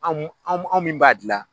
An mun an mun an min b'a dilan.